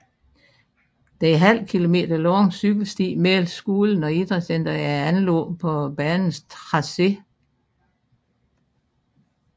Den ½ km lange cykelsti mellem skolen og idrætscentret er anlagt på banens tracé